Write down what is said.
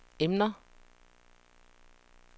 emner